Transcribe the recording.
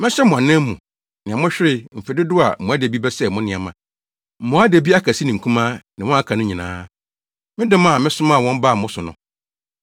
“Mɛhyɛ mo anan mu, nea mohweree mfe dodow a mmoadabi bɛsɛee mo nneɛma, mmoadabi akɛse ne nkumaa, ne wɔn a aka no nyinaa, me dɔm a mesomaa wɔn baa mo so no.